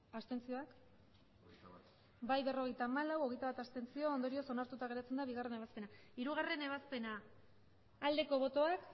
abstenzioak emandako botoak hirurogeita hamabost bai berrogeita hamalau abstentzioak hogeita bat ondorioz onartuta geratzen da bigarrena ebazpena hirugarrena ebazpena aldeko botoak